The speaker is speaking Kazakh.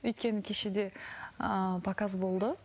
өйткені кеше де ыыы показ болды